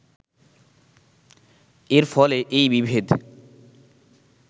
এর ফলে এই বিভেদ